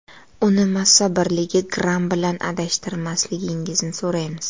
Uni massa birligi gramm bilan adashtirmasligingizni so‘raymiz.